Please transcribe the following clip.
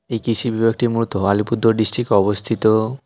এই কৃষি বিভাগটি মূলত আলিপুরদুয়ার ডিস্ট্রিক্টে অবস্থিত।